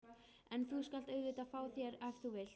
En þú skalt auðvitað fá þér ef þú vilt.